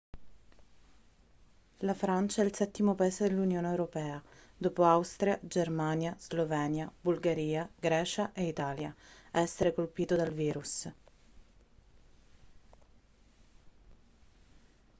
la francia è il settimo paese dell'unione europea dopo austria germania slovenia bulgaria grecia e italia a essere colpito dal virus